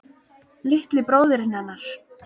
Litli bróðirinn hennar.